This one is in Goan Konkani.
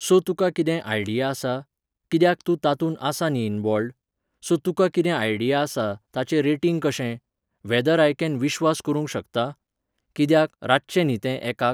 So तुका कितें idea आसा? कित्याक तूं तातूंत आसा न्ही involved? So तुका कितें idea आसा, ताचें rating कशें ? whether I can विश्वास करूंक शकतां? कित्याक, रातचें न्ही तें एकाक?